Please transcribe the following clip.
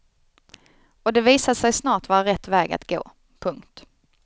Och det visade sig snart vara rätt väg att gå. punkt